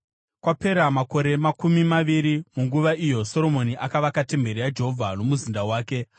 Kwapera makore makumi maviri, munguva iyo Soromoni akavaka temberi yaJehovha nomuzinda wake,